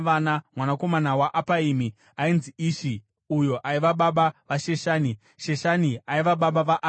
Mwanakomana waApaimi ainzi Ishi uyo aiva baba vaSheshani. Sheshani aiva baba vaArai.